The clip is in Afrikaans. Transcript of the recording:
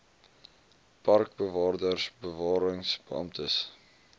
parkbewaarders bewarings beamptes